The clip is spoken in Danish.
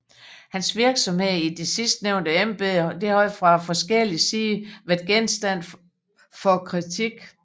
Hans Virksomhed i det sidstnævnte Embede har fra forskjellig Side været Gjenstand for Kritik